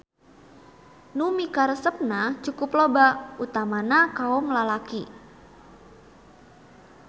Nu mikaresepna cukup loba utamana kaom lalaki.